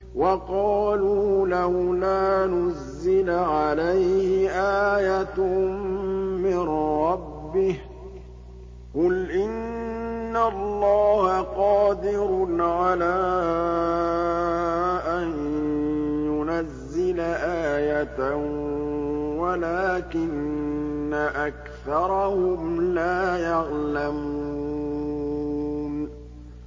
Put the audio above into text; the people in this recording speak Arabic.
وَقَالُوا لَوْلَا نُزِّلَ عَلَيْهِ آيَةٌ مِّن رَّبِّهِ ۚ قُلْ إِنَّ اللَّهَ قَادِرٌ عَلَىٰ أَن يُنَزِّلَ آيَةً وَلَٰكِنَّ أَكْثَرَهُمْ لَا يَعْلَمُونَ